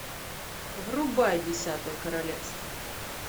врубай десятое королевство